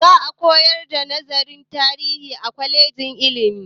Za a koyar da nazarin tarihi a kwalejin ilimi.